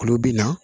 Olu bɛ na